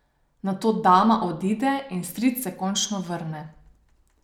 Nato dama odide in stric se končno vrne.